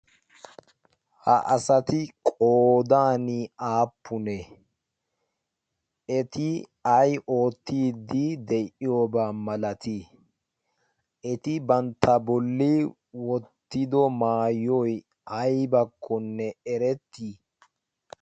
ha asati qoodan aappune eti ay oottiiddi de'iyoobaa malatii eti bantta bolli wottido maayoy aybakkonne erettii